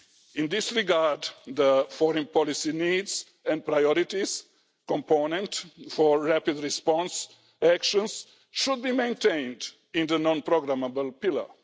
key. In this regard, the foreign policy needs and priorities component for rapid response actions should be maintained in the non programmable pillar.